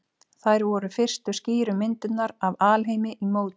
Þær voru fyrstu skýru myndirnar af alheimi í mótun.